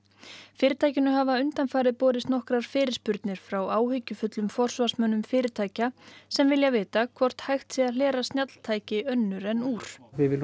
fyrirtækinu hafa undanfarið borist nokkrar fyrirspurnir frá áhyggjufullum forsvarsmönnum fyrirtækja sem vilja vita hvort hægt sé að hlera snjalltæki önnur en úr við viljum